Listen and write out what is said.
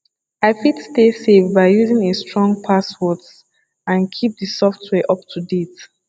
i fit stay safe by using a strong passwords and keep di software up to date